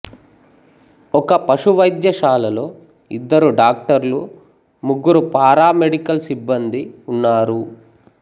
ఒక పశు వైద్యశాలలో ఇద్దరు డాక్టర్లు ముగ్గురు పారామెడికల్ సిబ్బందీ ఉన్నారు